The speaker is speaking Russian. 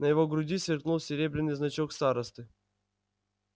на его груди сверкнул серебряный значок старосты